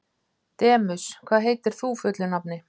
Demus, hvað heitir þú fullu nafni?